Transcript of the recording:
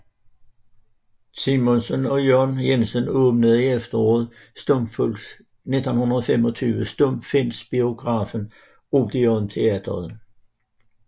Simonsen og Søren Jensen åbnede i efteråret 1925 stumfilmsbiografen Odeon Teatret